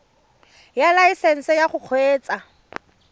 ya laesesnse ya go kgweetsa